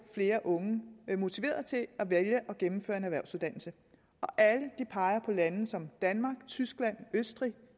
flere unge motiveret til at vælge at gennemføre en erhvervsuddannelse alle peger på lande som danmark tyskland østrig